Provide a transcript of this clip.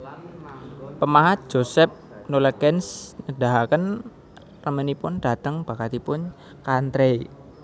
Pemahat Joseph Nollekens nedahaken remenipun dhateng bakatipun Chantrey